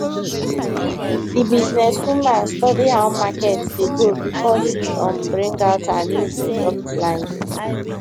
the businesswoman study how market dey go before she um bring out her new product line